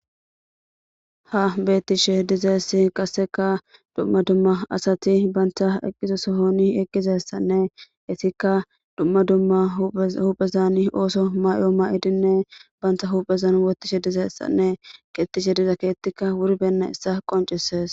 ha bettishe dizaessi qasseka dumma dumma asati banta eqqizo sohoni eqqizessanne itikka dumma dumma huphezani ooso mayo ma7idinne banta huphezan wotishe dizaessanne qettishe diza keettikka wuri benna issa qoncisees